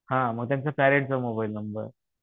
हां मग त्यांचा पेरेंट्सचा मोबाईल नंबर